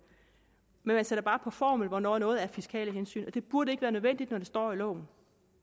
man sætter bare på formel hvornår noget er fiskale hensyn og det burde ikke være nødvendigt når det står i loven